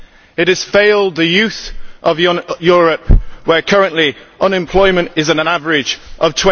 It has failed the youth of Europe, where currently unemployment is at an average of